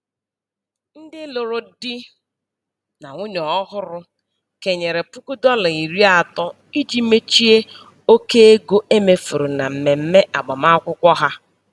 Ndị lụrụ di na nwunye ọhụrụ kenyere puku dọla iri atọ iji mechie oke ego e mefuru na mmemme agbamakwụkwọ ha.